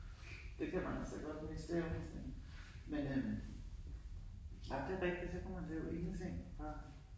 Det kan man altså godt miste evnen til. Men øh ej men det rigtigt så kunne man lave ingenting